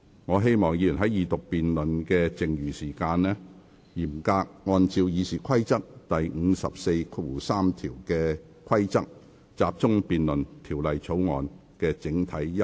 我請議員在二讀辯論的餘下時間，嚴格按照《議事規則》第543條的規定，集中辯論《條例草案》的整體優劣及原則。